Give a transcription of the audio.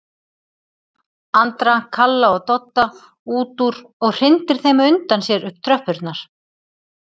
Andra, Kalla og Dodda út úr og hrindir þeim á undan sér upp tröppurnar.